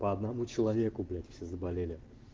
по одному человеку блять все заболели